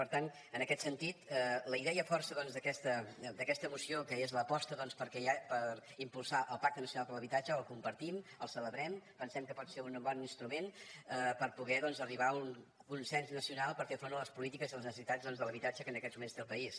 per tant en aquest sentit la idea força d’aquesta moció que és l’aposta per impulsar el pacte nacional per a l’habitatge la compartim la celebrem pensem que pot ser un bon instrument per poder arribar a un consens nacional per fer front a les polítiques i a les necessitats de l’habitatge que en aquests moments té el país